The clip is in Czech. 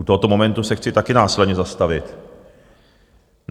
U tohoto momentu se chci taky následně zastavit.